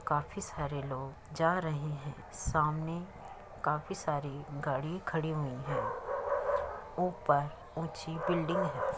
काफी सारे लोग जा रहे है। सामने काफी सारी गाड़ी खड़ी हुई है। ऊपर ऊंची बिल्डिंग है।